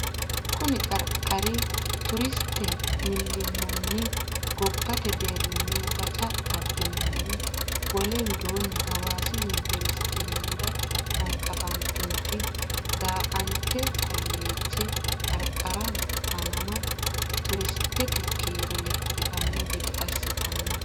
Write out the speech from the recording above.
Kuni qarqari turistete millimmonni gobbate deerrinni baca abbanni no Wole widoonni Hawaasi Yuniversite hunda hanqafantinoti Dannete Kolleeje qarqaraho fa nama turistete kiiro lexxitanno gede assitino.